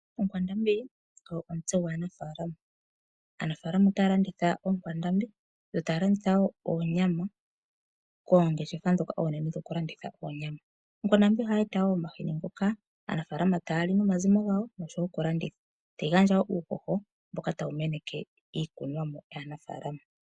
Ookwandambi odho omitse dhanafaalama oshoka aanafalama otaya landitha ookwandambi, yo taya landitha wo oonyama koongeshefa ndhoka oonene dhokulandutha oonyama. Ohadhi eta wo omahini ngoka aanafalama tayali nomazimo gawo oshowo okulanditha. Ohadhi gandja wo uuhoho mbono hawu meneke iikunomwa yanafaalama.